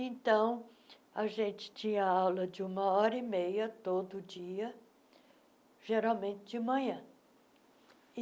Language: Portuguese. Então, a gente tinha aula de uma hora e meia, todo dia, geralmente de manhã.